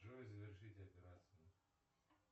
джой завершить операции